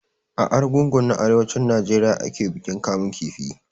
A Arugungu na arewacin Najeriya ake bikin kamun kifi.